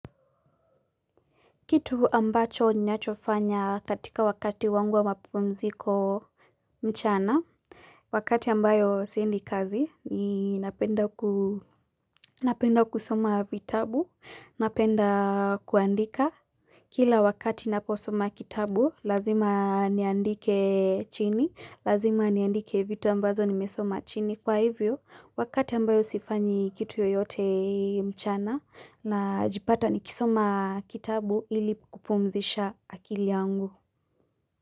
Kitu ambacho nyachofanya katika wakati wangu wa mapumziko mchana. Wakati ambayo siendi kazi, ni napenda kusoma vitabu, napenda kuandika. Kila wakati naposoma kitabu, lazima niandike chini, lazima niandike vitu ambazo nimesoma chini. Kwa hivyo, wakata ambayo sifanyi kitu yoyote mchana najipata nikisoma kitabu ili kupumzisha akili yangu.